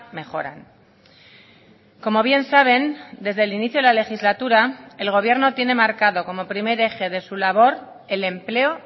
mejoran como bien saben desde el inicio de la legislatura el gobierno tiene marcado como primer eje de su labor el empleo